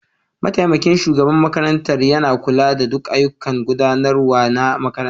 Mataimakin shugaban makarantar yana kula da duk ayyukan gudanarwa na makarantar.